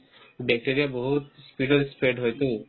bacteria ই বহুত speed ত spread হয়তো